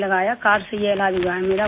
card سے ہی علاج ہوا ہے میرا